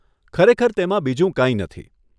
ખરેખર તેમાં બીજું કંઈ નથી.